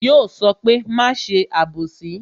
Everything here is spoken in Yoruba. Yo sọ pé "máa ṣe abosi"